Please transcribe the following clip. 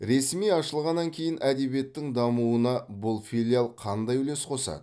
ресми ашылғаннан кейін әдебиеттің дамуына бұл филиал қандай үлес қосады